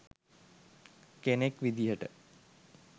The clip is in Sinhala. කෙනෙක් විදියට.